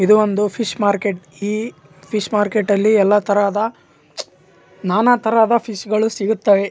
ಎದು ಒಂದು fish market ಈ ಫಿಶ ಮಾರ್ಕೆ ಟಲ್ಲಿ ಎಲ್ಲತರದ ನಾನಾ ತರದ ಫಿಶ್ಗ ಳು ಸಿಗುತ್ತದೆ.